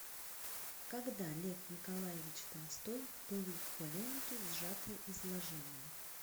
когда лев николаевич толстой в пылу полемики сжатое изложение